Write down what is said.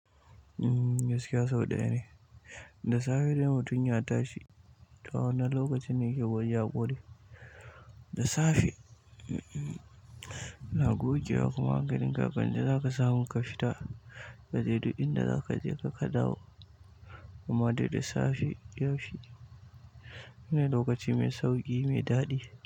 Umm, gaskiya sau ɗaya ne. Da safe dai mutum ya tashi, to a wannan lokacin ne kamar ya ƙure. Da safe, ina gogewa kuma hankalin ka wanda za ka samu ka fita kaje duk inda za kajeka ka dawo. Kuma dai da safe yaushe shine lokaci mai sauƙi, mai daɗi.